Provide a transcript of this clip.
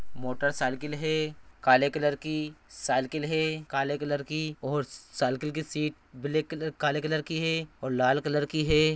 Motorcycle है काले colour की साइकिल है काले कलर की और साइकिल की सीट ब्लैक काले कलर की है और लाल कलर की है।